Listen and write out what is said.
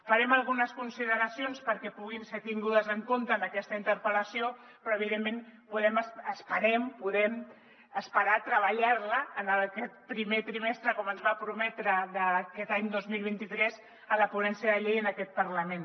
farem algunes consideracions perquè puguin ser tingudes en compte en aquesta interpel·lació però evidentment podem esperar treballar la en aquest primer trimestre com ens va prometre d’aquest any dos mil vint tres en la ponència de la llei en aquest parlament